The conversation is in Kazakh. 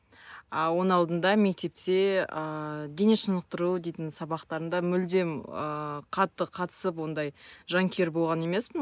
а оның алдында мектепте ыыы дене шынықтыру дейтін сабақтарында мүлдем ыыы қатты қатысып ондай жанкүйер болған емеспін